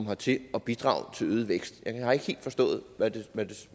hertil og bidrage til øget vækst jeg har ikke helt forstået